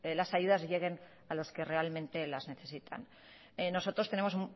las ayudas lleguen a los que realmente las necesitan nosotros tenemos